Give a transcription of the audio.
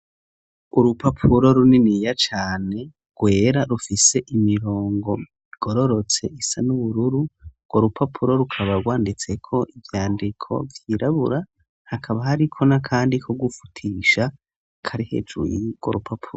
Urupapuro runiniya cane rwera rufise imirongo igororotse isa n'ubururu, urwo rupapuro rukaba rwanditseko ivyandiko vyirabura, hakaba hariko n' akandi ko gufutisha kari hejuru yurwo rupapuro.